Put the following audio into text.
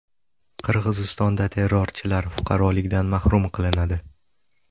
Qirg‘izistonda terrorchilar fuqarolikdan mahrum qilinadi.